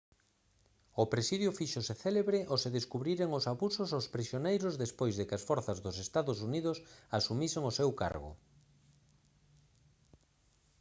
o presidio fíxose célebre ao se descubriren os abusos aos prisioneiros despois de que as forzas dos ee uu asumisen o seu cargo